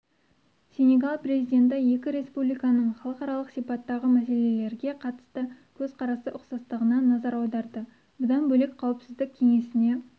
сенегал президенті екі республиканың халықаралық сипаттағы мәселелерге қатысты көзқарасы ұқсастығына назар аударды бұдан бөлек қауіпсіздік кеңесіне